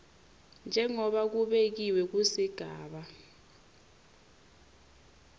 njengobe kubekiwe kusigaba